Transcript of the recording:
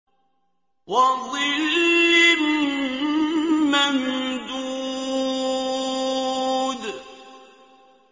وَظِلٍّ مَّمْدُودٍ